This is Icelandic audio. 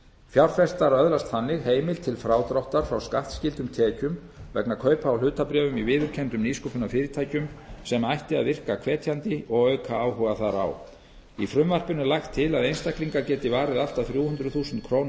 fjárfestar öðlast þannig heimild til frádráttar frá skattskyldum tekjum vegna kaupa á hlutabréfum í viðurkenndum nýsköpunarfyrirtækjum sem ætti að virkja hvetjandi og auka áhuga þar á í frumvarpinu er lagt til að einstaklingar geti varið allt að þrjú hundruð þúsund króna